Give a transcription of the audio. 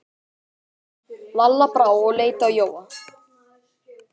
Lalla brá og leit á Jóa.